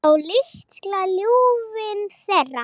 Á litla ljúfinn þeirra.